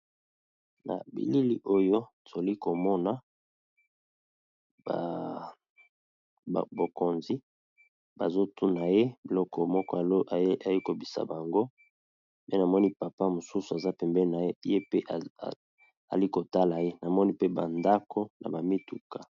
Na bilili oyo toli komona bokonzi bazotuna ye biloko moko azoyebisa bango pe namoni papa mosusu aza pembeni naye pe ali kotala ye namoni pe bandako na bamituka.